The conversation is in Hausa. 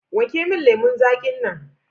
Wanke min lemun zaƙin nan.